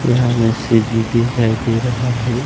यहां में सीढ़ी दिखाई दे रहा है।